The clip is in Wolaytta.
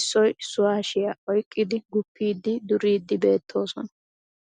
issoy issuwaa hashiya oyqqidi guppidi duridi beettoosona